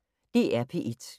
DR P1